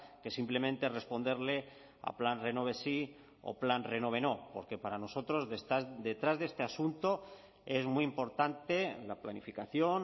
que simplemente responderle a plan renove sí o plan renove no porque para nosotros detrás de este asunto es muy importante la planificación